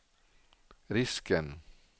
risken